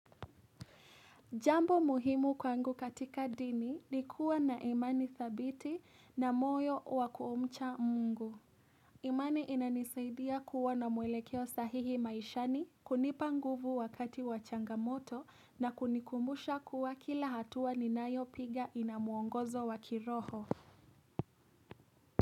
Jambo muhimu kwangu katika dini ni kuwa na imani thabiti na moyo wakumcha Mungu. Imani inanisaidia kuwa na mwelekeo sahihi maishani kunipa nguvu wakati wa changamoto na kunikumbusha kuwa kila hatua ninayopiga ina mwongozo wa kiroho.